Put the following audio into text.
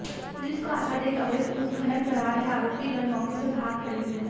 police को आता देख अवैध उत्खनन करा रहे आरोपी गण मौके से भाग खड़े हुए